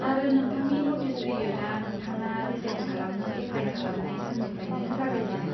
आरो, नोंथांनि नटिस पिरिय'डआ नोंथाङा रिजाइन खालामनो एप्लाय खालामनाय साननिफ्रायनो जागायजेनो।